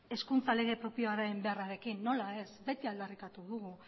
hezkuntza lege propioaren beharrarekin nola ez beti aldarrikatu dugu